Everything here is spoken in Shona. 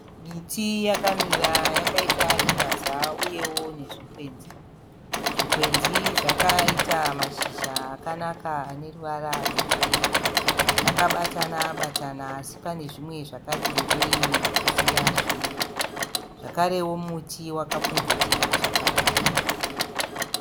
Miti yakamira yakaita rundaza uyewo nezvikwenzi. Zvikwenzi zvakaita mashizha akanaka ane ruvara rwegirini. Zvakabatana- batana asi pane zvimwe zvakati rebei kusiya zvimwe. Zvakarewo muti wakapfubvutira zvakanaka.